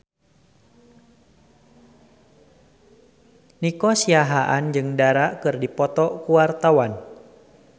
Nico Siahaan jeung Dara keur dipoto ku wartawan